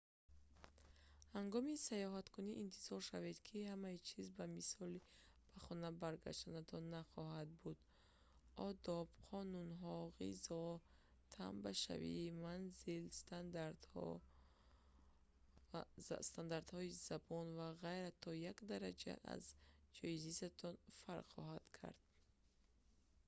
ҳангоми сайёҳаткунӣ интизор шавед ки ҳамаи чиз ба мисли ба хона баргаштанатон нахоҳад буд одоб қонунҳо ғизо тамбашавӣ манзил стандартҳо забон ва ғайра то як дараҷа аз ҷои зистатон фарқ хоҳанд кард